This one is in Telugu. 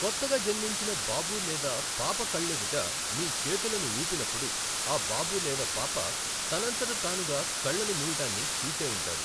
కొత్తగా జన్మించిన బాబు లేదా పాప కళ్ళెదుట మీ చేతులను ఊపినప్పుడు ఆబాబు లేదా పాప తనంతట తానుగా కళ్ళను మూయడాన్ని చూసే ఉంటారు.